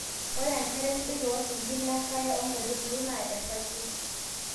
ore enkare sidai too sinkir le nkare o kaitubulu naa esayiet